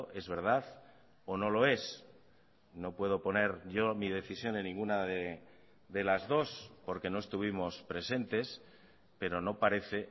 es verdad o no lo es no puedo poner yo mi decisión en ninguna de las dos porque no estuvimos presentes pero no parece